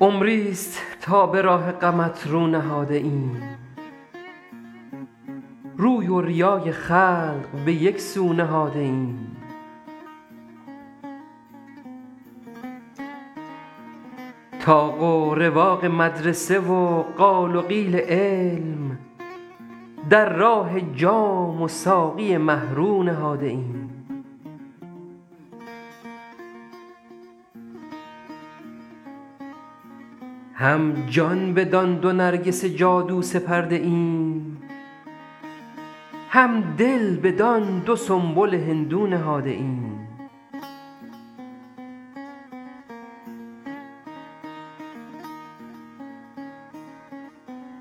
عمریست تا به راه غمت رو نهاده ایم روی و ریای خلق به یک سو نهاده ایم طاق و رواق مدرسه و قال و قیل علم در راه جام و ساقی مه رو نهاده ایم هم جان بدان دو نرگس جادو سپرده ایم هم دل بدان دو سنبل هندو نهاده ایم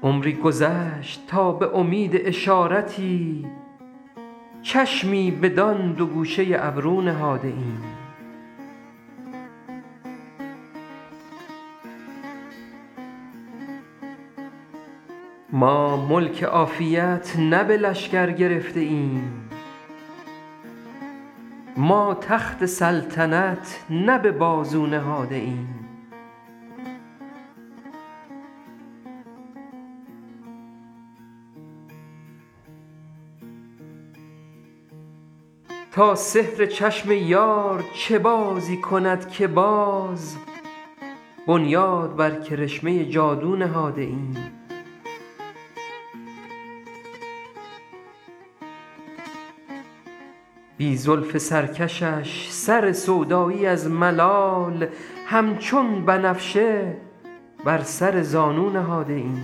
عمری گذشت تا به امید اشارتی چشمی بدان دو گوشه ابرو نهاده ایم ما ملک عافیت نه به لشکر گرفته ایم ما تخت سلطنت نه به بازو نهاده ایم تا سحر چشم یار چه بازی کند که باز بنیاد بر کرشمه جادو نهاده ایم بی زلف سرکشش سر سودایی از ملال همچون بنفشه بر سر زانو نهاده ایم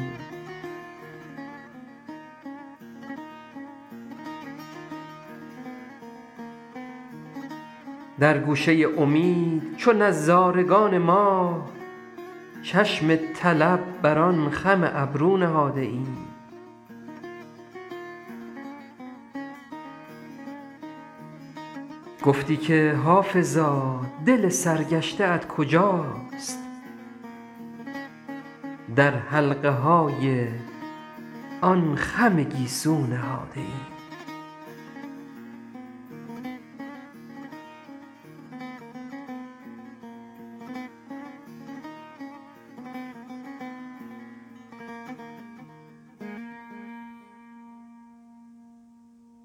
در گوشه امید چو نظارگان ماه چشم طلب بر آن خم ابرو نهاده ایم گفتی که حافظا دل سرگشته ات کجاست در حلقه های آن خم گیسو نهاده ایم